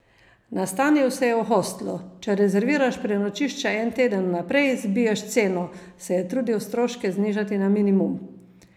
Nastanil se je v hostlu: "Če rezerviraš prenočišče en teden vnaprej, zbiješ ceno," se je trudil stroške znižati na minimum.